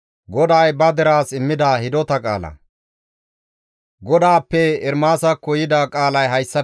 GODAAPPE Ermaasakko yida qaalay hayssafe kaallizayssa.